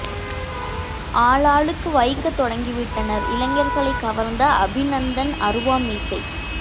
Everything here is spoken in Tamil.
ஆளாளுக்கு வைக்க தொடங்கி விட்டனர் இளைஞர்களை கவர்ந்த அபிநந்தன் அருவா மீசை